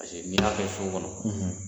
ni y'a kɛ so kɔnɔ